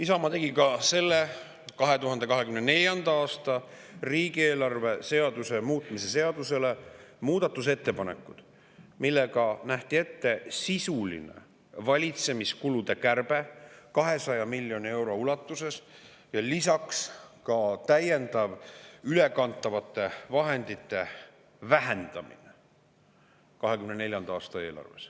Isamaa tegi ka selle, 2024. aasta riigieelarve seaduse muutmise seaduse kohta muudatusettepanekud, millega nähti ette sisuline valitsemiskulude kärbe 200 miljoni euro ulatuses ja lisaks täiendav ülekantavate vahendite vähendamine 2024. aasta eelarves.